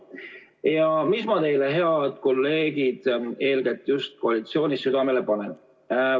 Ja mis ma teile, head kolleegid eeskätt just koalitsioonist, südamele panen?